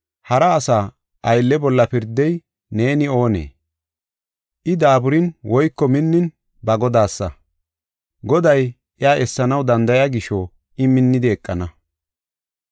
Hara asa aylle bolla pirdey neeni oonee? I daaburin woyko minnin ba Godaasa. Goday iya essanaw danda7iya gisho I minnidi eqana.